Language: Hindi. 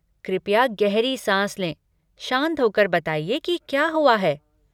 कृपया गहरी साँस लें, शांत हो कर बताइए कि क्या हुआ है।